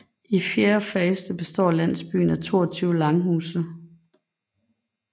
I fjerde faste består landsbyen af 22 langhuse